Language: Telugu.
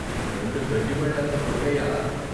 " "రెండు గడ్డిబళ్ళంత పొడుగయ్యా "